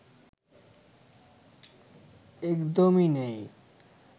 একদমই নেই